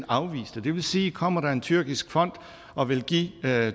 afvise dem det vil sige at kommer der en tyrkisk fond og vil give